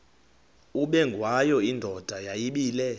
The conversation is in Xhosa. ubengwayo indoda yayibile